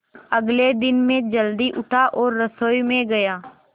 अगले दिन मैं जल्दी उठा और रसोई में गया